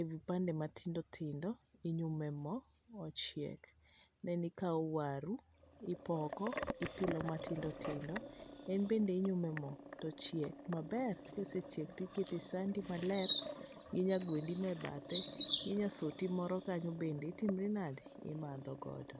e kipande matindo tindo to inyumo e mo mochieg, then ikawo waru, ipoko ipilo matindo tindo. En bende inyumo e mo, to ochiek maber ka osechiek to iketo e sandi maler gi nyagwendi no e bathe, gi nyasoti moro kanyo bende, itimri nade, imadho godo.